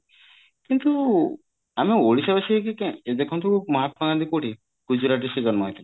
କିନ୍ତୁ ଆମ ଓଡିଶାବାସୀ ହେଇକି କାଇଁ ଦେଖନ୍ତୁ ମହାତ୍ମା ଗାନ୍ଧୀ କୋଉଠି ଗୁଜୁରାଟରେ ସେ ଜନ୍ମ ହେଇଥିଲେ